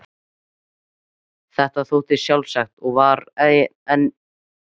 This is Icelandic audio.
Þetta þótti sjálfsagt og var einn liðurinn í vertíðinni.